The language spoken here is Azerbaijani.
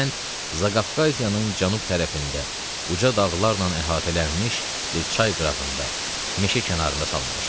Bu kənd Zaqafqaziyanın cənub tərəfində, uca dağlarla əhatələnmiş bir çay qırağında, meşə kənarında salınmışdı.